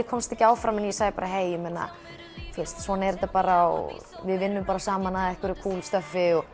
komist áfram ég sagði bara svona er þetta bara við vinnum bara saman að einhverju kúl